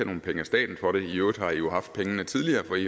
nogen penge af staten for det i øvrigt har i jo haft pengene tidligere for i